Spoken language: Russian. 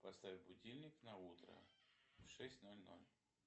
поставь будильник на утро в шесть ноль ноль